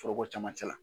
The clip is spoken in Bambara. Foroko camancɛ la